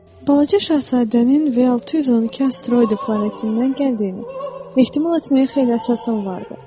Balaca şahzadənin V612 asteroidi planetindən gəldiyini ehtimal etməyə xeyli əsasım vardı.